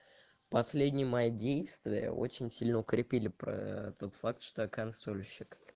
последний мои действия очень сильно укрепили проо тот факт что консольщик